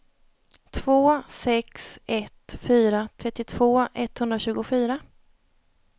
två sex ett fyra trettiotvå etthundratjugofyra